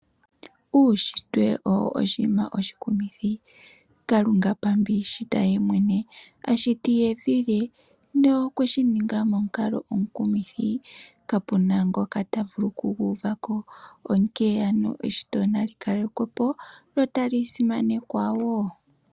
Uushitwe owo oshinima oshikumithi, Kalunga pamba iishita ye mwene. Ashiti evi lye nokwe shi ninga momukalo omukumithi, ka pe na ngoka ta vulu oku gu uvako. Onkene ano eshito nali kalekwe po lyo tali simanekwa wo.